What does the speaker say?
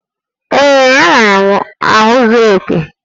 Ee, enwere m ahụ zuru oke